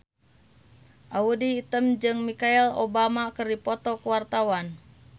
Audy Item jeung Michelle Obama keur dipoto ku wartawan